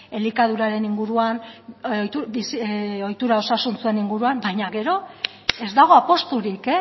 elikaduraren inguruan bizi ohitura osasuntsuen inguruan baina gero ez dago apusturik